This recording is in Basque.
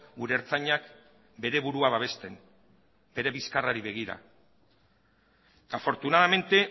gure ertzainak bere burua babesten bere bizkarrari begira afortunadamente